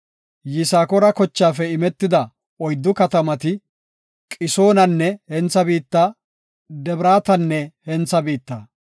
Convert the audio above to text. Yisakoora kochaafe imetida oyddu katamati, Qisoonanne hentha biitta, Debraatanne hentha biitta.